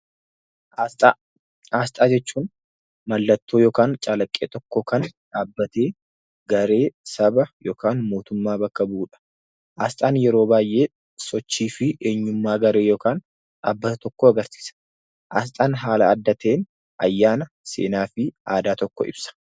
Asxaa jechuun mallattoo yookiin calaqqee tokko kan dhaabbatee garee, saba yookiin mootummaa bakka bu'udha. Asxaan yeroo baay'ee sochii fi eenyummaa garee yookiin dhaabbata tokkoo agarsiisa. Asxaan haala adda ta'een ayyaana seenaa fi aadaa tokko ibsa.